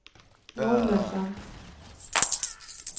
Nordjyllands Amt